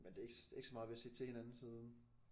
Men det er ikke det er ikke så meget vi har set til hinanden siden